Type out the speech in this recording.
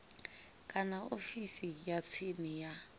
kana ofisini ya tsini ya